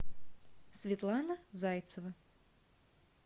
светлана зайцева